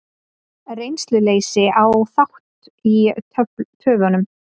Reynsluleysi á þátt í töfunum